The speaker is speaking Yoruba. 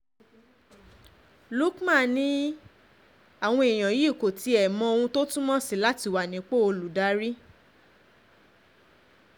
Lukmon ni awan eniyan yi ko tie mo ohun to tunmo si lati wa ni ipo oludari